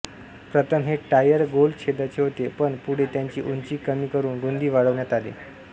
प्रथम हे टायर गोल छेदाचे होते पण पुढे त्यांची उंची कमी करून रुंदी वाढविण्यात आली